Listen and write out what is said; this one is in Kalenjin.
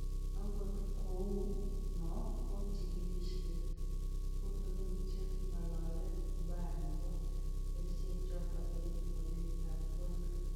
Angot kou no ko chikilisyet tutigin che ng'alale ubaya nebo kerichekchoto eng akilit ab kwonyik